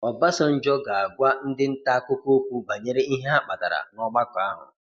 Obasanjo ga-agwa ndị ntaakụkọ okwu banyere ihe ha kpatara n'ọgbakọ ahụ.